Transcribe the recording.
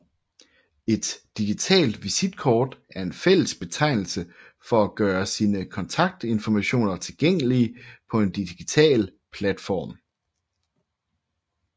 Et digitalt visitkort er en fælles betegnelse for at gøre sine kontaktinformationer tilgængelige på en digital platform